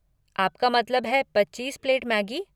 आपका मतलब है पच्चीस प्लेट मैगी?